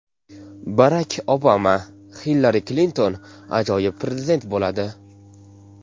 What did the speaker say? Barak Obama: Hillari Klinton ajoyib prezident bo‘ladi.